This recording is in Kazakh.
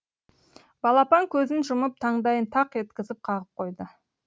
балапан көзін жұмып таңдайын тақ еткізіп қағып қойды